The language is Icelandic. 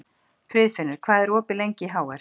Friðfinnur, hvað er opið lengi í HR?